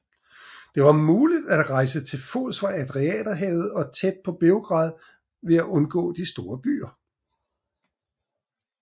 Der var muligt at rejse til fods fra Adriaterhavet og tæt på Beograd ved at undgå de store byer